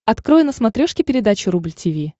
открой на смотрешке передачу рубль ти ви